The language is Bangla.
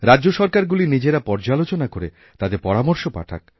রাজ্যসরকারগুলি নিজেরা পর্যালোচনা করে তাদের পরামর্শ পাঠাক